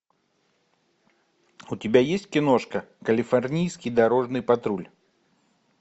у тебя есть киношка калифорнийский дорожный патруль